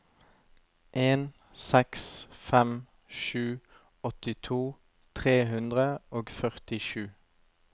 en seks fem sju åttito tre hundre og førtisju